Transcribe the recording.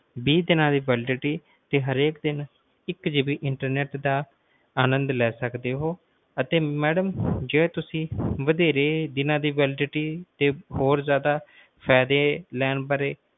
ਵੀਹ ਦੀਨਾ ਦੀ validity ਤੇ ਹਰ ਦਿਨ ਇੱਕ GBInternet ਦਾ ਆਨੰਦ ਲੈ ਸਕਦੇ ਹੋ ਤੇ ਜੇ ਮੈਡਮ ਤੁਸੀਂ ਵਧੇਰੇ ਦੀਨਾ ਦੀ validity ਤੇ ਹੋਰ ਜ਼ਯਾਦਾ ਫਾਇਦੇ ਲੈਣ ਬਾਰੇ